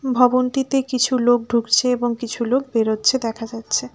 ভবনটিতে কিছু লোক ঢুকছে এবং কিছু লোক বেরোচ্ছে দেখা যাচ্ছে।